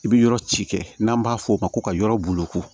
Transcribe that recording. I bɛ yɔrɔ ci kɛ n'an b'a fɔ o ma ko ka yɔrɔ boloko